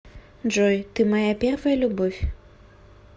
джой ты моя первая любовь